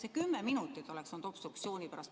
See kümme minutit oleks olnud obstruktsiooni pärast.